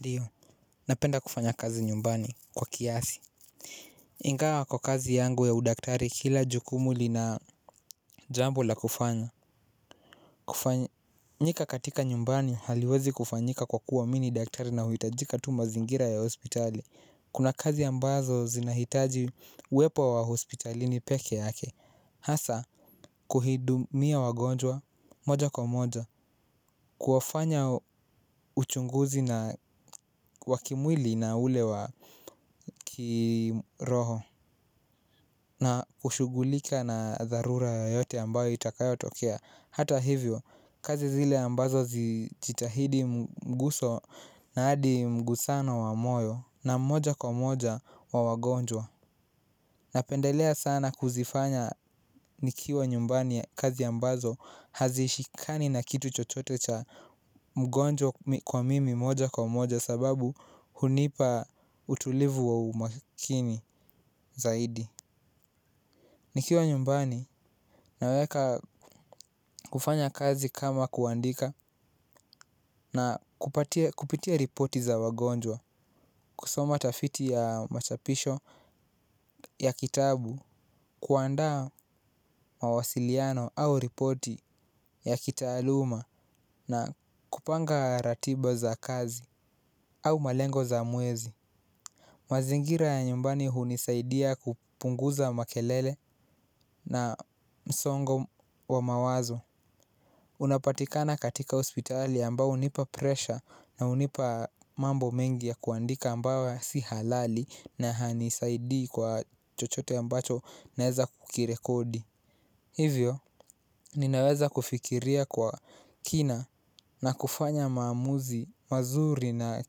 Ndiyo, napenda kufanya kazi nyumbani kwa kiasi. Ingawa kwa kazi yangu ya udaktari kila jukumu lina jambo la kufanya. Kufanyika katika nyumbani haliwezi kufanyika kwa kuwa mi ni daktari nahitajika tu mazingira ya hospitali. Kuna kazi ambazo zinahitaji uwepo wa hospitalini peke yake. Hasa, kuhudumia wagonjwa moja kwa moja, kuwafanya uchunguzi na wa kimwili na ule wa kiroho. Na kushughulika na dharura yoyote ambayo itakayotokea. Hata hivyo, kazi zile ambazo zijitahidi mguso na hadi mgusano wa moyo na moja kwa moja wa wagonjwa. Napendelea sana kuzifanya nikiwa nyumbani ya kazi ambazo hazishikani na kitu chochote cha mgonjwa kwa mimi moja kwa moja sababu hunipa utulivu wa umakini zaidi. Nikiwa nyumbani naweka kufanya kazi kama kuandika na kupitia ripoti za wagonjwa, kusoma tafiti ya machapisho ya kitabu, kuandaa mawasiliano au ripoti ya kitaaluma na kupanga ratiba za kazi au malengo za mwezi. Mazingira ya nyumbani hunisaidia kupunguza makelele na msongo wa mawazo unapatika katika hospitali ambao hunipa presha na hunipa mambo mengi ya kuandika ambayo si halali na hainsaidii kwa chochote ambacho naweza kukirekodi. Hivyo, ninaweza kufikiria kwa kina na kufanya maamuzi, mazuri na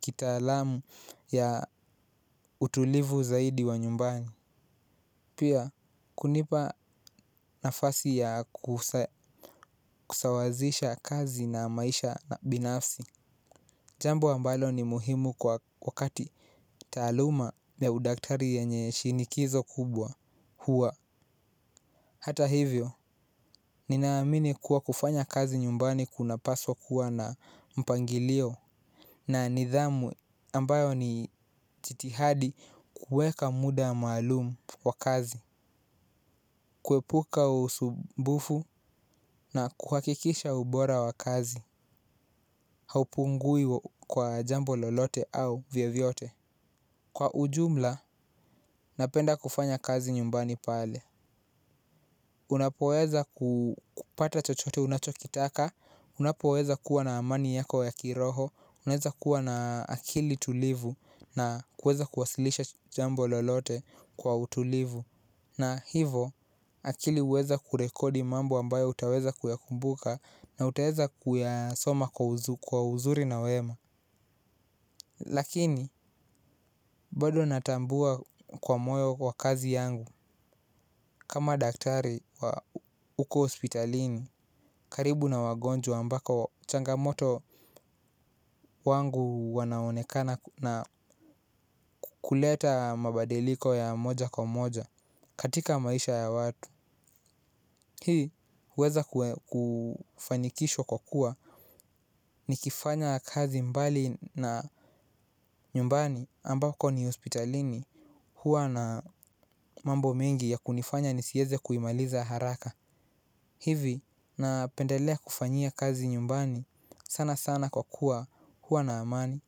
kitaalamu ya utulivu zaidi wa nyumbani. Pia kunipa nafasi ya kusawazisha kazi na maisha na binafsi. Jambo ambalo ni muhimu kwa wakati taaluma ya udaktari yenye shinikizo kubwa huwa hata hivyo, ninaamini kuwa kufanya kazi nyumbani kunapaswa kuwa na mpangilio na nidhamu ambayo ni chitihadi kuweka muda maalumu wa kazi. Kuepuka usumbufu na kuhakikisha ubora wa kazi. Haupungui kwa jambo lolote au vyevyote. Kwa ujumla, napenda kufanya kazi nyumbani pale unapoweza kupata chochote unachokitaka unapoweza kuwa na amani yako ya kiroho. Unaweza kuwa na akili tulivu. Na kuweza kuwasilisha jambo lolote kwa utulivu. Na hivo akili huweza kurekodi mambo ambayo utaweza kuyakumbuka na utaweza kuyasoma kwa uzuri na wema. Lakini bado natambua kwa moyo kwa kazi yangu. Kama daktari huko hospitalini karibu na wagonjwa ambako changamoto wangu wanaonekana na kuleta mabadiliko ya moja kwa moja katika maisha ya watu. Hii huweza kufanikishwa kwa kuwa nikifanya kazi mbali na nyumbani ambako ni hospitalini huwa na mambo mengi ya kunifanya nisieze kuimaliza haraka. Hivi napendelea kufanyia kazi nyumbani sana sana kwa kuwa huwa na amani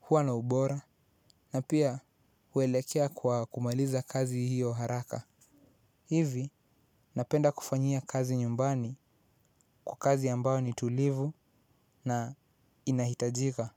huwa na ubora na pia huelekea kwa kumaliza kazi hiyo haraka. Hivi napenda kufanyia kazi nyumbani kwa kazi ambao ni tulivu na inahitajika.